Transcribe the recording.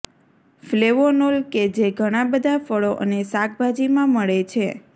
flavonol કે જે ઘણા બધા ફળો અને શાકભાજીમાં મળે છે